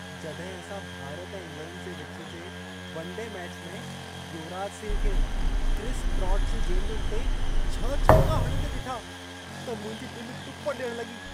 जॾहिं असां भारत ऐं इंग्लैंड जे विच जे वनडे मैच में युवराज सिंह खे, क्रिस ब्रॉड जी गेंदुनि ते छह छक्का हणंदे ॾिठा, त मुंहिंजी दिलि टुप ॾियणु लॻी।